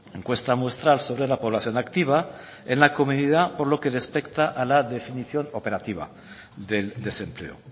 encuesta muestral sobre la población activa en la comedida por lo que respecta a la definición operativa del desempleo